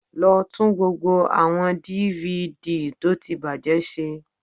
Lọ tún gbogbo àwọn DVD tó ti bàjẹ́ ṣe